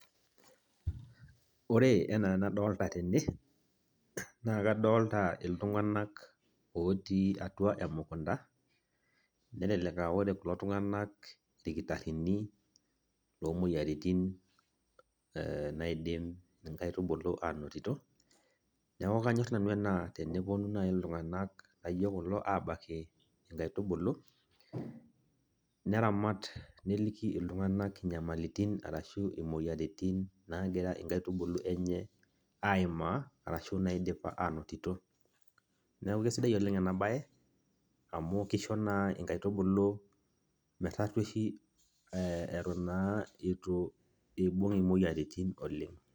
Ore enaa enadolta tene, naa kadolta iltung'anak otii atua emukunda, nelelek ah ore kulo tung'anak irkitaarrini omoyiaritin naidim inkaitubulu anotito, neeku kanyor nanu ena teneponu nai iltung'anak laijo kulo abaiki inkaitubulu, neramat, neliki iltung'anak inyamalitin arashu imoyiaritin nagira inkaitubulu enye aimaa, arashu naidipa anotito. Neeku kesidai oleng enabae, amu kisho naa inkaitubulu metarrueshi eton naa itu ibung' imoyiaritin oleng'.